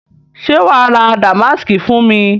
Ṣe wàá ra Damásìkì fún mi?